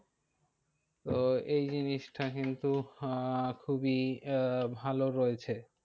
তো এই জিনিসটা কিন্তু আহ খুবই আহ ভালো রয়েছে।